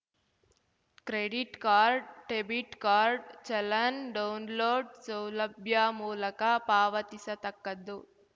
credit card debit card challan download ಸೌಲಭ್ಯ ಮೂಲಕ ಪಾವತಿಸತಕ್ಕದ್ದು